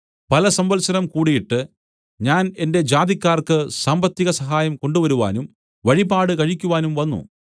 പലസംവത്സരം കൂടീട്ട് ഞാൻ എന്റെ ജാതിക്കാർക്ക് സാമ്പത്തിക സഹായം കൊണ്ടുവരുവാനും വഴിപാട് കഴിക്കുവാനും വന്നു